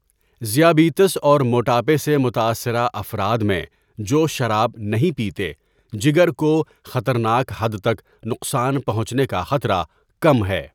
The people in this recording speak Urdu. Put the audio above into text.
ذیابیطس اور موٹاپے سے متاثره افراد میں جو شراب نهیں پیتے، جگر کو خطرناک حد تک نقصان پہنچنے کا خطره کم ہے.